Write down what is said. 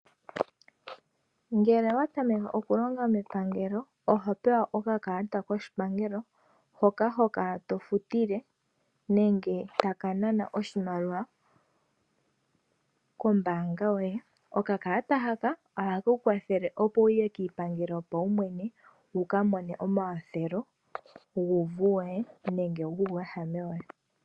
Ngele owa tameke okulonga mepangelo oho pewa okakalata koshipangelo, hoka ho kala to futile nenge taka nana oshimaliwa kombaanga yoye. Okakalata haka ohake ku kwathele opo wu ye kiipangelo yopaumwene, wu ka mone omakwathelo guuvu woye nenge guuwehame woye.